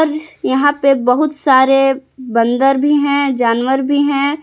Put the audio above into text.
यहां पे बहुत सारे बंदर भी हैं जानवर भी हैं।